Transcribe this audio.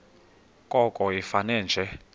koko ifane nje